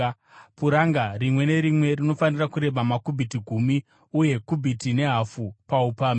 Puranga rimwe nerimwe rinofanira kureba makubhiti gumi uye kubhiti nehafu paupamhi,